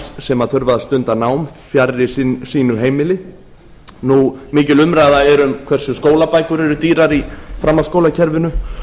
sem þurfa að stunda nám fjarri sínu heimili nú mikil umræða er um hversu skólabækur er dýrar í framhaldsskólakerfinu